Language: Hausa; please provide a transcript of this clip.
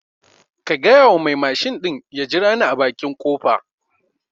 Ka gyayawa mai mashin ɗin ya jirane a baƙi kofa